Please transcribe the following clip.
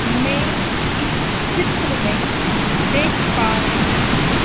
मै इस चित्र में देख पा रहीं हूं--